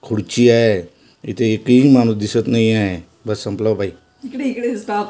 खुर्ची आहे इथे एकही माणूस दिसत नाही आहे बस संपला बाई --